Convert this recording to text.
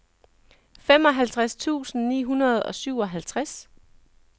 femoghalvtreds tusind ni hundrede og syvoghalvtreds